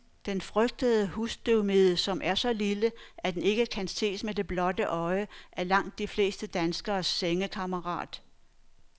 Den frygtede husstøvmide, som er så lille, at den ikke kan ses med det blotte øje, er langt de fleste danskeres sengekammerat.